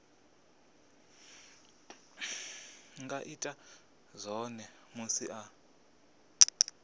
nga ita zwone musi a